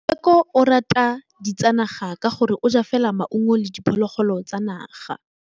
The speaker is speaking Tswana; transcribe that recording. Tshekô o rata ditsanaga ka gore o ja fela maungo le diphologolo tsa naga.